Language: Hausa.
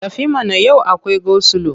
Tafi mana! Yau akwai gosilo.